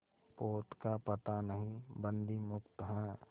पोत का पता नहीं बंदी मुक्त हैं